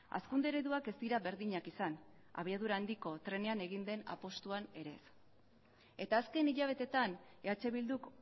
hazkunde ereduak ez dira berdinak izan abiadura handiko trenean egin den apustuan ere ez eta azken hilabeteetan eh bilduk